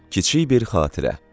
Kiçik bir xatirə.